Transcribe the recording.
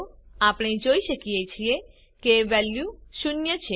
આપણે જોઈ શકીએ છીએ કે વેલ્યુ શૂન્ય છે